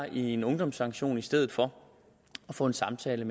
en ungdomssanktion i stedet for at få en samtale